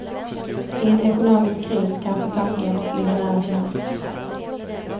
I en ekonomisk kris kanske tanken ligger nära till hands.